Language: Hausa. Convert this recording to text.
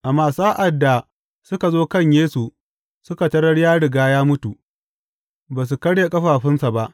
Amma sa’ad da suka zo kan Yesu suka tarar ya riga ya mutu, ba su karya ƙafafunsa ba.